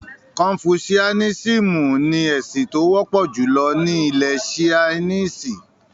“Kọnfúsúánísìmú” ní ẹ̀sìn tí ó wọ́pọ̀ júlọ ni ilẹ̀-Sainísì.